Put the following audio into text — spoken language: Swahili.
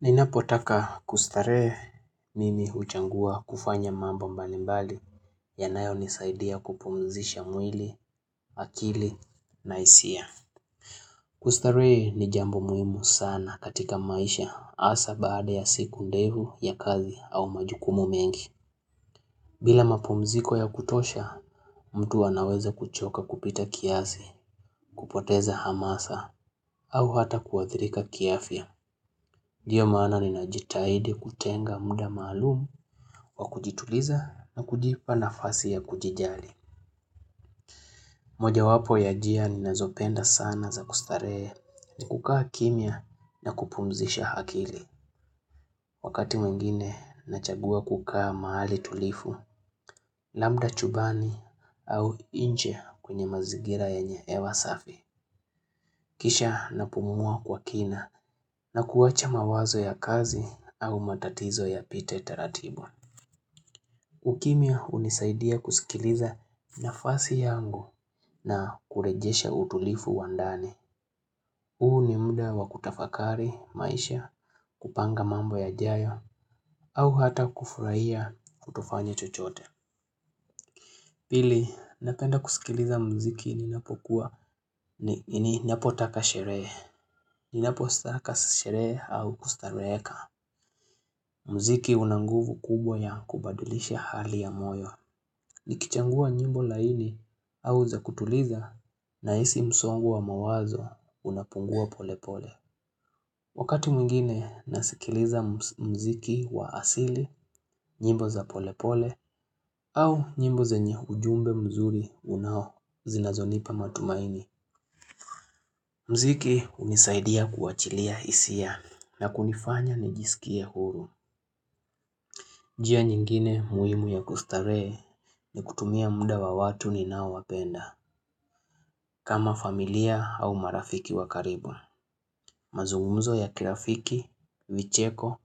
Ninapotaka kustarehe mimi uchagua kufanya mambo mbali mbali yanayo nisaidia kupumzisha mwili, akili na hisia. Kustarehe ni jambo muhimu sana katika maisha asa baada ya siku ndfu ya kazi au majukumu mengi. Bila mapumziko ya kutosha, mtu anaweza kuchoka kupita kiasi, kupoteza hamasa au hata kuathirika kiafya. Ndio maana ni najitahidi kutenga muda maalumu wa kujituliza na kujipa nafasi ya kujijali. Mojawapo ya njia ni nazopenda sana za kustarehe ni kukaa kimia na kupumzisha akili. Wakati wengine nachagua kukaka mahali tulifu, labda chumbani au inje kwenye mazigira yenye hewa safi. Kisha na pumua kwa kina na kuwacha mawazo ya kazi au matatizo yapite teratibu. Ukimia unisaidia kusikiliza nafasi yangu na kurejesha utulifu wa ndani. Huu ni mda wa kutafakari, maisha, kupanga mambo yajayo, au ata kufurahia kutofanya chochote. Pili, napenda kusikiliza mziki ninapo kuwa ninapotaka sherehe ninapo taka sherehe au kustareheka. Mziki unanguvu kubwa ya kubadulisha hali ya moyo. Nikichagua nyimbo laini au za kutuliza nahisi msongo wa mawazo unapungua pole pole. Wakati mwingine nasikiliza mziki wa asili nyimbo za pole pole au nyimbo zenye ujumbe mzuri unao zinazonipa matumaini. Mziki unisaidia kuachilia hisia na kunifanya nijisikie huru. Njia nyingine muhimu ya kustarehe ni kutumia muda wa watu ninao wapenda. Kama familia au marafiki wa karibu, mazungumzo ya kirafiki, vicheko